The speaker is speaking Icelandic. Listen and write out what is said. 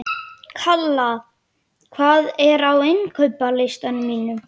Kalla, hvað er á innkaupalistanum mínum?